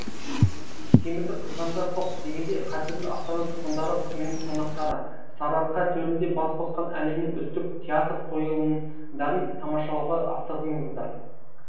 темірді қызғанда соқ дегендей қадірлі астана тұрғындары мен қонақтары сарыарқа төрінде бас қосқан әлемнің үздік театр қойылымдарын тамашалауға асығыңыздар